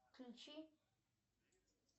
включи